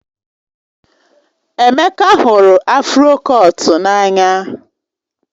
Emeka hụrụ afro kọtụ n'anya